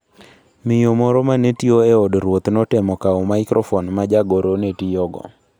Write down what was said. Miyo moro ma ne tiyo e od ruoth notemo kawo maikrofon ma jagoro ne tiyogo.